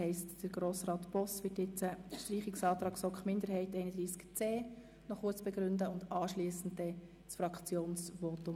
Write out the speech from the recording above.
Deshalb wird nun Grossrat Boss den Streichungsantrag zu Artikel 31c noch kurz begründen und anschliessend sein Fraktionsvotum abgeben.